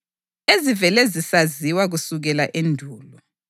ezivele zisaziwa kusukela endulo.